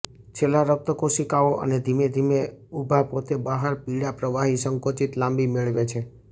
છેલ્લા રક્ત કોશિકાઓ અને ધીમે ધીમે ઉભા પોતે બહાર પીળા પ્રવાહી સંકોચિત લાંબી મેળવે છે